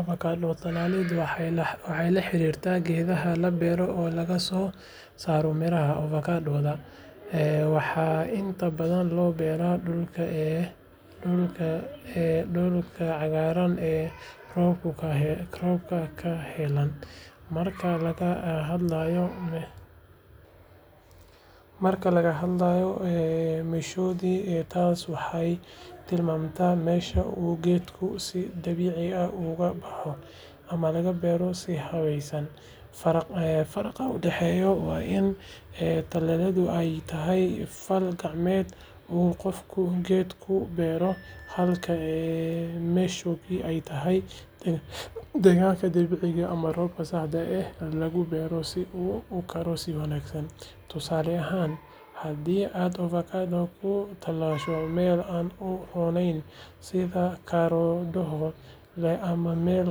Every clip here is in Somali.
Avocado talaaled waxey laxariirta geedhaha labeero oo lagasoosaro miraha avocadodha. Waxaa inta badhan looberaa dulka cagaarana ee robka kahelaan. Marka lagahadlayo meeshoodi taas waxey tilmaamta mesha uu gedku si dabiici ah ugubaho ama lagabeero so habeysan. Faraqa udaxeeya waa in talaaladhu eey tahy fal gacmeed u gofku gedku beero halka meshu ki ey tahy degaanka dabiiciga ah ama roobka sahda ah lagubeero si uu ukaro si wanaagsan. Tusaale ahaan hadii ad avocado kutalaasho Mel an uhabooneyn sidha karoduhu ama mel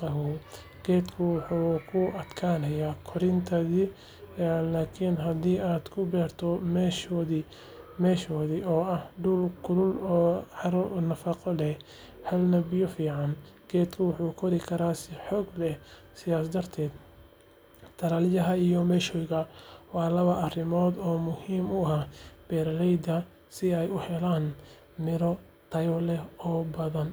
qawoow gedku wuxu kuadkaanaya qorintadhi lakin hadii aad kubeerto meeshoodi oo ah dul kulu oo caro nafaqo le helana biyo ficangedku wuxu qodhi Kara si xoog leh sidha darteed talayaha iyo meeshidha waa laba arimood oo muhiim uah Miro tayo le oo badhan.